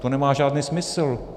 To nemá žádný smysl.